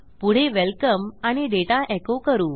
पुढे वेलकम आणि data echo करू